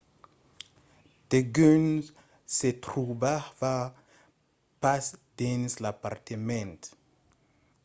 degun se trobava pas dins l'apartament